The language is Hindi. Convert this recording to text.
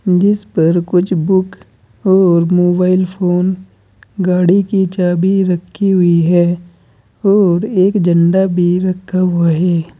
मेज पर कुछ बुक और मोबाइल फोन गाड़ी की चाभी रखी हुई है और एक झंडा भी रखा हुआ है।